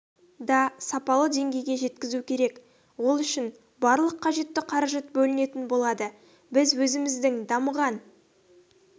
да сапалы деңгейге жеткізу керек ол үшін барлық қажетті қаражат бөлінетін болады біз өзіміздің дамыған